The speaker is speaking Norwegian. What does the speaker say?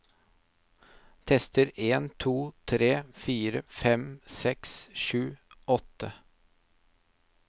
Tester en to tre fire fem seks sju åtte